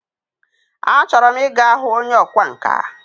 A chọrọ m Ị ga hụ onye ọkwa nka.